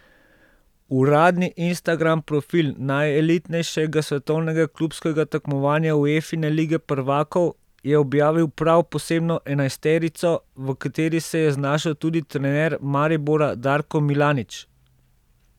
Uradni Instagram profil najelitnejšega svetovnega klubskega tekmovanja, Uefine lige prvakov, je objavil prav posebno enajsterico, v kateri se je znašel tudi trener Maribora Darko Milanič.